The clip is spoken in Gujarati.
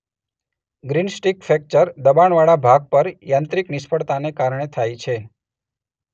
ગ્રીનસ્ટીક ફ્રેક્ચર દબાણવાળા ભાગ પર યાંત્રિક નિષ્ફળતાને કારણે થાય છે.